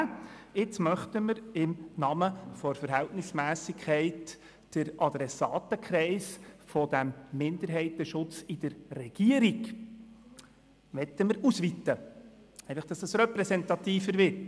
Und jetzt wollen wir im Namen der Verhältnismässigkeit den Adressatenkreis dieses Minderheitenschutzes in der Regierung ausweiten, damit dieser repräsentativer wird.